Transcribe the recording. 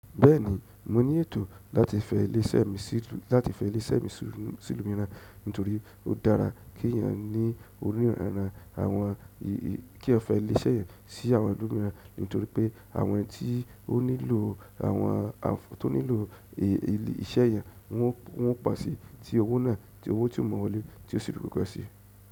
Bẹ́ẹ̀ni mo ní ètò láti fẹ ilé iṣẹ́ mi sí ìlú mìíràn nítorí ó dára kí ènìyàn ní orírànran-- kí eyan fẹ ilé iṣẹ́ eyan sí àwọn ìlú mìíràn nítorí pé àwọn tí ó nílò àwọn-- tó nílò iṣẹ́ eyan wọn ó po sí. Tí owó náà-- tí owó tí ó mọ́wọ́ lé tí ó sì rí wugó sí.